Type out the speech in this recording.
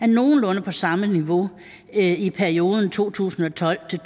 nogenlunde på samme niveau i perioden to tusind og tolv til